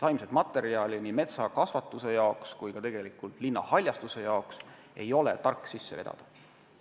Taimset materjali metsakasvatuse ega ka linnahaljastuse jaoks pole tark sisse vedada.